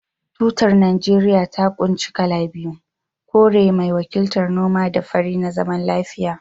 Tutar Najeriya ta kunshi kala biyu, kore mai wakiltar noma da fari na zaman lafiya